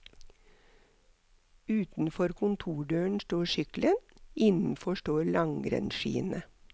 Utenfor kontordøren står sykkelen, innenfor står langrennsskiene.